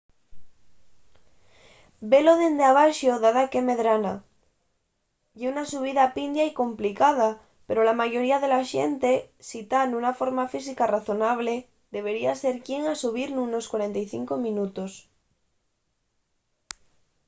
velo dende abaxo da daqué medrana ye una subida pindia y complicada pero la mayoría de la xente si ta nuna forma física razonable debería ser quien a subir nunos 45 minutos